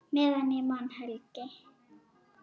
Meðan ég man, Helgi.